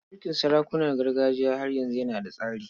Mulkin sarakunan gargajiya har yanzu yana da tsari.